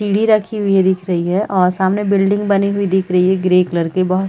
सीढ़ी रखी हुई है दिख रही है और सामने बिल्डिंग बनी हुई दिख रही है ग्रे कलर के बांस--